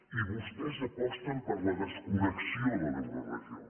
i vostès aposten per la desconnexió de l’euroregió